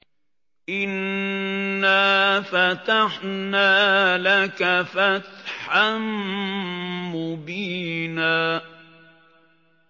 إِنَّا فَتَحْنَا لَكَ فَتْحًا مُّبِينًا